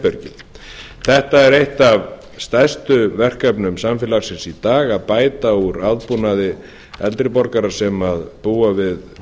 einkaherbergjum þetta er eitt af stærstu verkefnum samfélagsins í dag að bæta úr aðbúnaði eldri borgara sem búa við